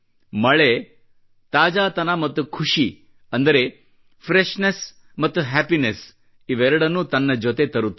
ಮಳೆ ತಾಜಾತನ ಮತ್ತು ಖುಷಿ ಅಂದರೆ ಫ್ರೆಶ್ನೆಸ್ ಮತ್ತು ಹ್ಯಾಪಿನೆಸ್ ಇವೆರಡನ್ನೂ ತನ್ನ ಜೊತೆ ತರುತ್ತದೆ